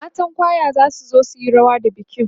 matan kwaya zasu zo suyi rawa da bikin